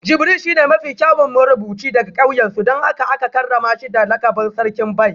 Jibril shine mafi kyawun marubuci daga kauyensu don haka aka karrama shi da lakabin Sarkin Bai